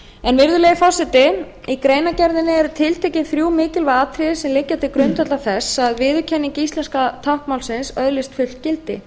trygg virðulegi forseti í greinargerðinni eru tiltekin þrjú mikilvæg atriði sem liggja til grundvallar því að viðurkenning íslenska táknmálsins öðlist fullt gildi